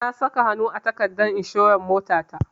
Na saka hanu a takardar inshorar motata.